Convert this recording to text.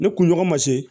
Ne kunɲɔgɔn ma se